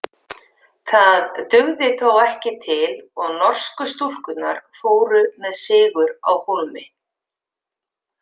Það dugði þó ekki til og norsku stúlkurnar fóru með sigur á hólmi.